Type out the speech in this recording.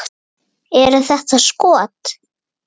Eru þetta skot.